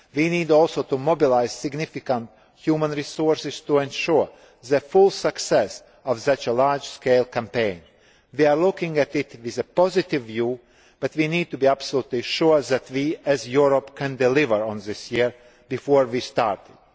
Year. We need also to mobilise significant human resources to ensure the full success of such a large scale campaign. We are looking at it positively, but we need to be absolutely sure that we, as Europe, can deliver on this Year before we